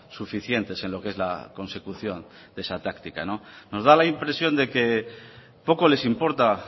suficientes en lo que es la consecución de esa táctica me da la impresión de que poco les importa